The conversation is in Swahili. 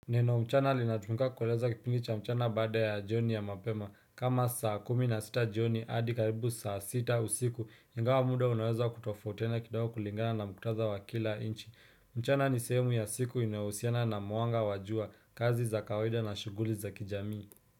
Neno mchana linatumika kueleza kipindi cha mchana baada ya jioni ya mapema kama saa kumi na sita jioni adi karibu saa sita usiku ingawa muda unaweza kutofautiana kidogo kulingana na muktadha wa kila nchi mchana ni sehemu ya siku inayohusiana na mwanga wa jua kazi za kawaida na shughuli za kijamii.